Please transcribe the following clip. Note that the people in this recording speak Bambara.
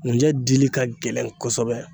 ŋunjɛ dili ka gɛlɛn kosɛbɛ